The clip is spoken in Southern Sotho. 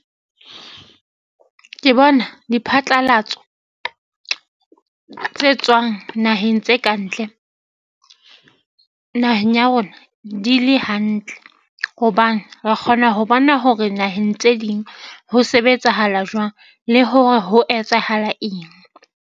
Ke bona diphatlalatso tse tswang naheng tse kantle naheng ya rona. Di le hantle hobane re kgona ho bona hore naheng tse ding ho sebetsahala jwang le hore ho etsahala eng.